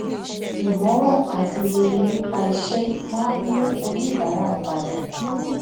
ìgbọràn àti rere nípa iṣé máa ń mú oníbàárà pada